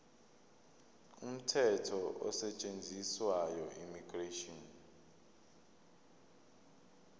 umthetho osetshenziswayo immigration